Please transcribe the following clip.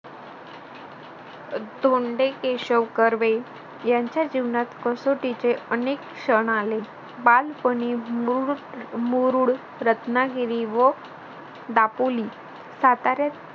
अह धोंडे केशव कर्वे त्यांच्या जीवनात कसोटीचे अनेक क्षण आले बालपणी मुरु मुरुड रत्नागिरी व दापोली साताऱ्यात